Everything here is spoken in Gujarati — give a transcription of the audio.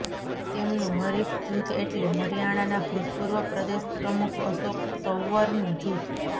તેમનું હરિફ જૂથ એટલે હરિયાણાના ભૂતપૂર્વ પ્રદેશ પ્રમુખ અશોક તંવરનું જૂથ